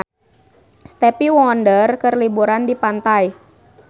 Stevie Wonder keur liburan di pantai